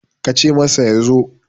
ka ce Musa ya zo!